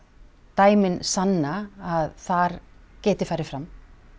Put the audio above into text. dæmin sanna að þar geti farið fram